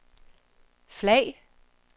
flag